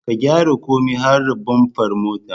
Ka gyara komai har da bamfar motar